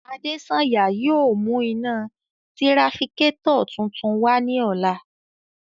Adesanya yóò mu ina tirafikatọ tuntun wa ni ọla